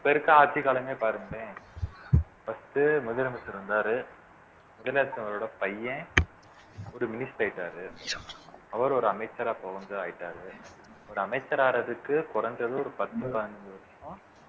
இப்ப இருக்க ஆட்சி காலமே பாருங்களேன் first முதலமைச்சர் வந்தாரு முதலமைச்சரோட பையன் ஒரு minister ஆயிட்டாரு அவர் ஒரு அமைச்சரா இப்ப வந்து ஆயிட்டாரு ஒரு அமைச்சராறதுக்கு குறைஞ்சது ஒரு பத்து பதினஞ்சு வருஷம்